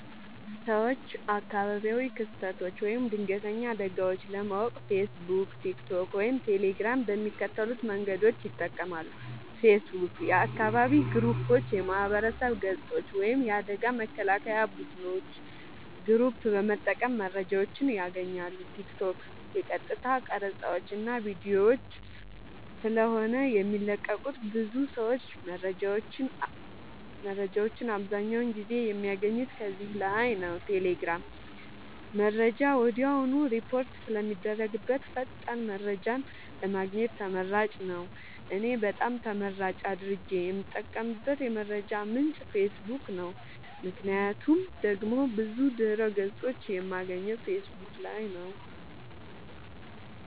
ሰወች አካባቢያዊ ክስተቶች ወይም ድንገተኛ አደጋወች ለማወቅ ፌሰቡክ ቲክቶክ ወይም ቴሌግራም በሚከተሉት መንገዶች ይጠቀማሉ ፌሰቡክ :- የአካባቢ ግሩፖች የማህበረሰብ ገፆች ወይም የአደጋ መከላከያ ቡድኖች ግሩፕ በመጠቀም መረጃወችን ያገኛሉ ቲክቶክ :- የቀጥታ ቀረፃወች እና ቪዲዮወች ስለሆነ የሚለቀቁበት ብዙ ሰወች መረጃወችን አብዛኛውን ጊዜ የሚያገኙት ከዚህ ላይ ነዉ ቴሌግራም :-መረጃ ወድያውኑ ሪፖርት ስለሚደረግበት ፈጣን መረጃን ለማግኘት ተመራጭ ነዉ። እኔ በጣም ተመራጭ አድርጌ የምጠቀምበት የመረጃ ምንጭ ፌሰቡክ ነዉ ምክንያቱም ደግሞ ብዙ ድህረ ገፆችን የማገኘው ፌሰቡክ ላይ ነዉ